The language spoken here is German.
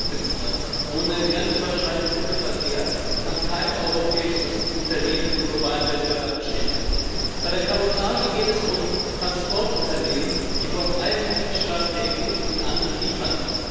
Herr Präsident! Ohne grenzüberschreitenden Güterverkehr kann kein europäisches Unternehmen im globalen Wettbewerb bestehen. Bei der Kabotage geht es um Transportunternehmen, die vom einen Mitgliedstaat der EU in den anderen liefern.